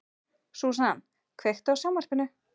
Susan, kveiktu á sjónvarpinu.